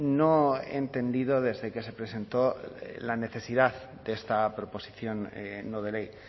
no he entendido desde que se presentó la necesidad de esta proposición no de ley